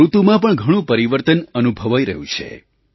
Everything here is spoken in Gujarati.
ઋતુમાં પણ ઘણું પરિવર્તન અનુભવાઈ રહ્યું છે